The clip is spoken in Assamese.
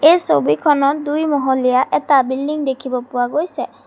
এই ছবিখনত দুই মহলীয়া এটা বিল্ডিং দেখিব পোৱা গৈছে।